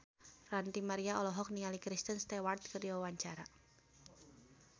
Ranty Maria olohok ningali Kristen Stewart keur diwawancara